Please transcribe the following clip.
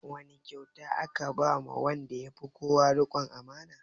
Wane kyauta aka ba wa wanda ya fi kowa riƙon amana?